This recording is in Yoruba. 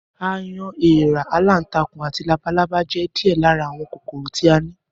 Aáyán, eèra, aláǹtakùn, àti labalábá jé̩ díè̩ lára àwo̩n kòkòrò tí a ní